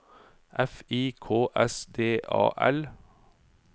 F I K S D A L